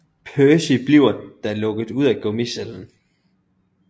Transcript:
Percy bliver da lukket ud af gummicellen